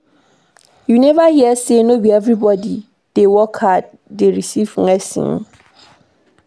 You neva hear sey no be everybodi wey dey work hard dey receive blessing?